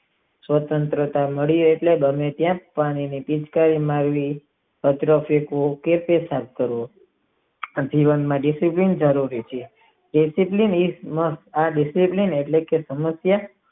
સ્વંતત્ર નડી એટલે બને ત્યાં પાણી ની પિચકારી મારવી કચરો ફેકવો કે પેસાબ કરવો જીવન માં તે કેટલી ખરાબ બાબત છે.